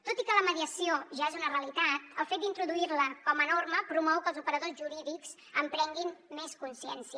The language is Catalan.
tot i que la mediació ja és una realitat el fet d’introduir la com a norma promou que els operadors jurídics en prenguin més consciència